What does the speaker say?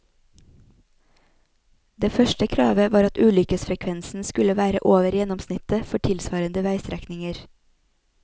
Det første kravet var at ulykkesfrekvensen skulle være over gjennomsnittet for tilsvarende veistrekninger.